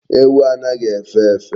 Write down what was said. Ewu anaghi efe efe